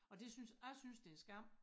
Og det synes jeg synes det en skam